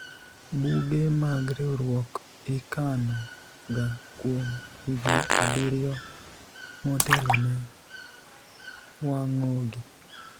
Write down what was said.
buge mag riwruok ikano ga kuom higni abiriyo motelo ne wang'ogi